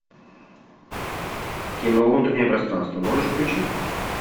кино внутреннее пространство можешь включить